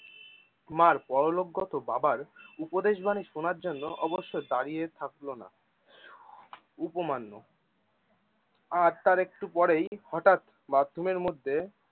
মার পরলোকগত বাবার উপদেশ বাণী শোনার জন্য অবশ্যদাঁড়িয়ে থাকলো না। উপমান্ন্য আর তার একটু পরেই হটাৎ bathroom এর মধ্যে